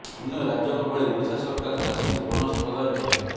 ଅନ୍ୟ ରାଜ୍ୟଙ୍କ ଭଳି ଓଡ଼ିଶା ସରକାର ଚାଷୀଙ୍କୁ ବୋନସ ପ୍ରଦାନ କରନ୍ତୁ